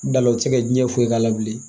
Da la o tɛ se ka diɲɛ foyi k'a la bilen